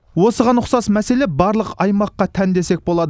осыған ұқсас мәселе барлық аймаққа тән десек болады